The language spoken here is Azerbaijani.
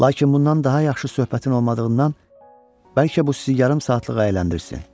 Lakin bundan daha yaxşı söhbətin olmadığından bəlkə bu sizi yarım saatlıq əyləndirsin.